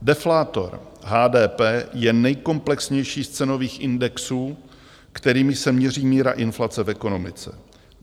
Deflátor HDP je nejkomplexnější z cenových indexů, kterými se měří míra inflace v ekonomice.